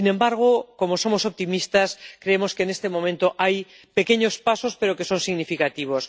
Sin embargo, como somos optimistas, creemos que en este momento hay pequeños pasos, pero que son significativos.